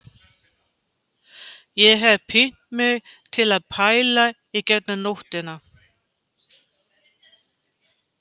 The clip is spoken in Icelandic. Ég hef pínt mig til að pæla í gegnum nóttina